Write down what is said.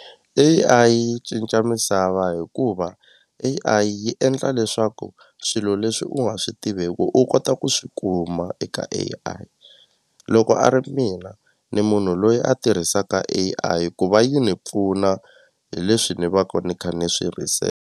A_I yi cinca misava hikuva A_I yi endla leswaku swilo leswi u nga swi tiveku u kota ku swi kuma eka A_I loko a ri mina ni munhu loyi a tirhisaka A_I ku va yi ni pfuna hi leswi ni va ni kha ni swi .